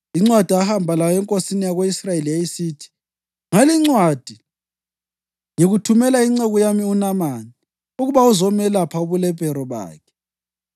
Incwadi ahamba layo enkosini yako-Israyeli yayisithi: “Ngalincwadi ngikuthumela inceku yami uNamani ukuba uzomelapha ubulephero bakhe.”